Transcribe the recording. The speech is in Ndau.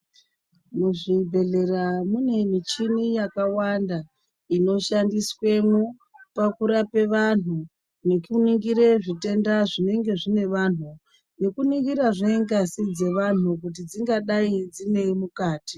Muzvibhedhlera mune michini yakawanda inoshandiswemo pakurape vanhu, nekuningira zvitenda zvinenge zvine vanhu, nekuningirazve ngazi dzevanhu kuti dzingadayi dzineyi mukati.